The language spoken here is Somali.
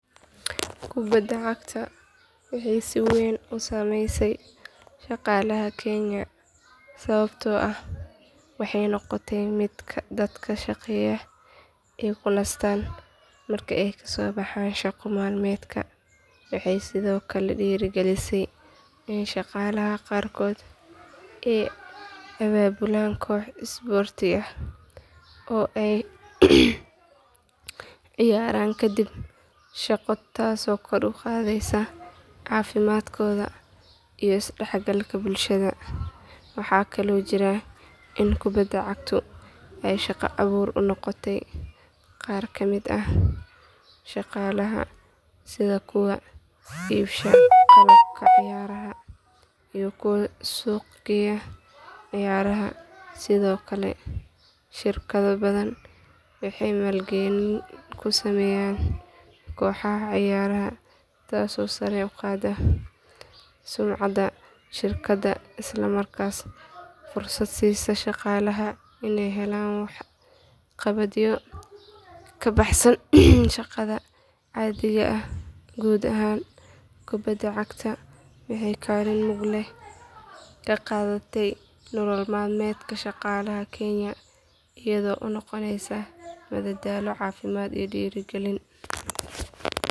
Kubadda cagta waxay si weyn u saameysay shaqaalaha kenya sababtoo ah waxay noqotay mid dadka shaqeeya ay ku nastaan marka ay ka soo baxaan shaqo maalmeedka waxay sidoo kale dhiirigelisay in shaqaalaha qaarkood ay abaabulaan kooxo isboorti oo ay ciyaaraan kadib shaqo taasoo kor u qaadaysa caafimaadkooda iyo isdhexgalka bulshada waxa kaloo jirta in kubadda cagtu ay shaqo abuur u noqotay qaar ka mid ah shaqaalaha sida kuwa iibsha qalabka ciyaaraha iyo kuwa suuqgeeya ciyaaraha sidoo kale shirkado badan waxay maalgelin ku sameeyaan kooxaha ciyaaraha taasoo sare u qaadaysa sumcadda shirkadda isla markaana fursad siisa shaqaalaha inay helaan waxqabadyo ka baxsan shaqada caadiga ah guud ahaan kubadda cagta waxay kaalin mug leh ka qaadatay nolol maalmeedka shaqaalaha kenya iyadoo u noqonaysa madadaalo caafimaad iyo dhiirigelin.